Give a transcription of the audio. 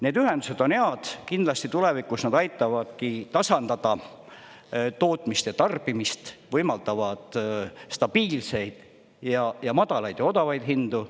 Need ühendused on head, kindlasti tulevikus nad aitavadki tasandada tootmist ja tarbimist, võimaldavad stabiilseid ja madalaid ja odavaid hindu.